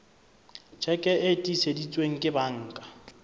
tjheke e tiiseditsweng ke banka